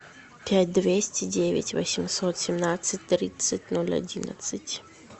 пять двести девять восемьсот семнадцать тридцать ноль одиннадцать